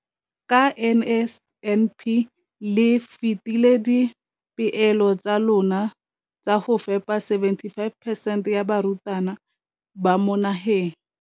Ka NSNP le fetile dipeelo tsa lona tsa go fepa masome a supa le botlhano a diperesente ya barutwana ba mo nageng.